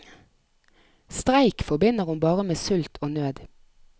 Streik forbinder hun bare med sult og nød.